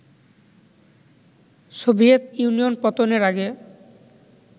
Soviet Union পতনের আগে